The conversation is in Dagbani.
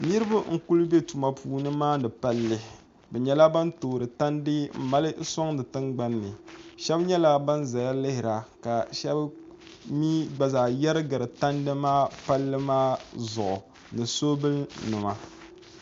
Niriba n-kuli be tuma puuni m-maani palli bɛ nyɛla bana toori tandi m-mali n-sɔŋdi tiŋagbni ni shɛba nyɛla bana zaya lihira ka shɛba mi gba zaa yɛrigiri tandi maa palli maa zuɣu ni soobuya